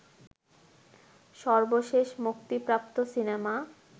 সর্বশেষ মুক্তিপ্রাপ্ত সিনেমা